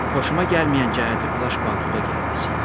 Xoşuma gəlməyən cəhəti plaş-paltoyla gəlməsi idi.